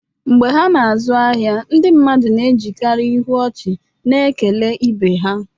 Mgbe ha na-azụ ahịa, ndị mmadụ na-ejikarị ihu ọchị na-ekele ibe ha